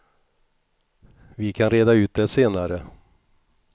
Vi kan reda ut det senare.